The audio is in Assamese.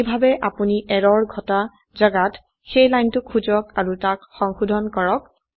এইভাবে আপোনি এৰৰ ঘটা জাগাত সেই লাইনটো খুঁজক আৰু তাক সংশোধন কৰক